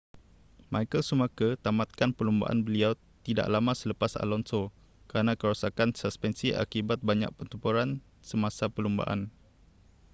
michael schumacher tamatkan perlumbaan beliau tidak lama selepas alonso kerana kerosakan suspensi akibat banyak pertempuran semasa perlumbaan